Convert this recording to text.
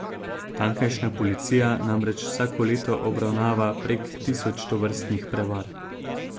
Tamkajšnja policija namreč vsako leto obravnava prek tisoč tovrstnih prevar.